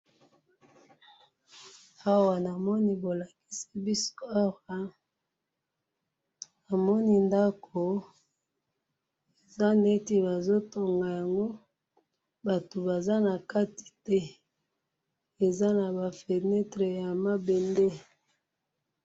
Awa namoni bolakisi biso awa, namoni ndako, eza neti bazotonga yango, bato Baza nakati te, eza nabafenetre yamabende